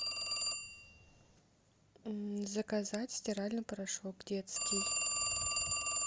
заказать стиральный порошок детский